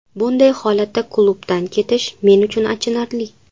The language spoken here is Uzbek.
Bunday holatda klubdan ketish, men uchun achinarli.